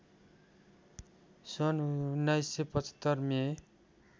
सन् १९७५ मे